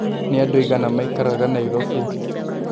nĩ andũ aĩgana maĩkaraga Nairobi